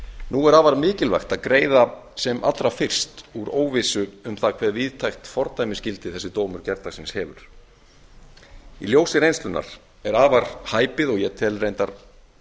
nú er afar mikilvægt að greiða sem allra fyrst úr óvissu um að hve víðtækt fordæmisgildi þessi dómur gærdagsins hefur í ljósi reynslunnar er afar hæpið og ég tel reyndar